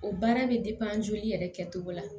O baara bɛ joli yɛrɛ kɛcogo la